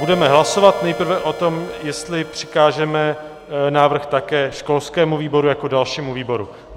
Budeme hlasovat nejprve o tom, jestli přikážeme návrh také školskému výboru jako dalšímu výboru.